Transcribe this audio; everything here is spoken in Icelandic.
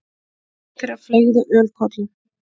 Einn þeirra fleygði ölkollu.